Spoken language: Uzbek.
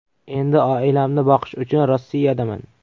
Endi oilamni boqish uchun Rossiyadaman” .